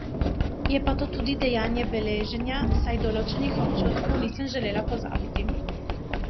Je pa to tudi dejanje beleženja, saj določenih občutkov nisem želela pozabiti.